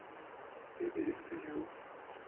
e be e se yo